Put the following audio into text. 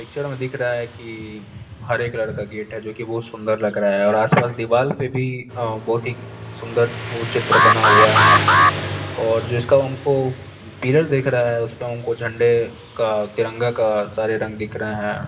Picture में दिख रहा है कि हरे कलर का गेट है जो कि बहुत सुंदर लग रहा है और आसपास दीवाल पे भी बहुत ही सुंदर वो चित्र बना हुआ है और जिसका हमको पिलर दिख रहा है उस पर हमको झंडे का तिरंगा का सारे रंग दिख रहे हैं।